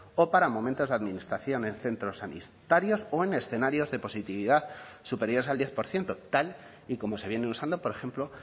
o para momentos de administración en centros sanitarios o en escenarios de positividad superiores al diez por ciento tal y como se viene usando por ejemplo